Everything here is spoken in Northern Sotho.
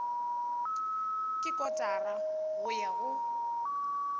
ke kotara go ya go